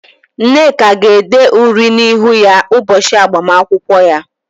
Nneka ga-ede uri na -ihu ya ụbọchị agbamakwụkwọ ya.